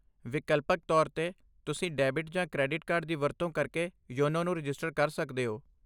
ਵਿਕਲਪਕ ਤੌਰ 'ਤੇ, ਤੁਸੀਂ ਡੈਬਿਟ ਜਾਂ ਕ੍ਰੈਡਿਟ ਕਾਰਡ ਦੀ ਵਰਤੋਂ ਕਰਕੇ ਯੋਨੋ ਨੂੰ ਰਜਿਸਟਰ ਕਰ ਸਕਦੇ ਹੋ।